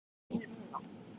En Einar er ekki reiður núna.